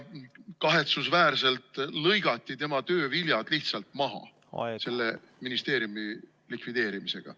Kahetsusväärselt lõigati tema töö viljad lihtsalt maha selle ministrikoha likvideerimisega.